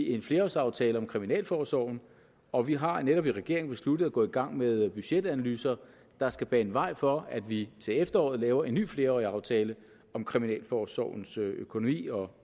en flerårsaftale om kriminalforsorgen og vi har netop i regeringen besluttet at gå i gang med budgetanalyser der skal bane vej for at vi til efteråret laver en ny flerårig aftale om kriminalforsorgens økonomi og